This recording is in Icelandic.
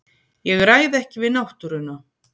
Ég ræð ekki við náttúruna.